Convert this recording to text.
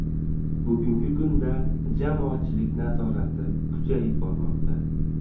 Bugungi kunda jamoatchilik nazorati kuchayib bormoqda.